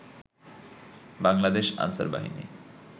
বাংলাদেশ আনসার বাহিনী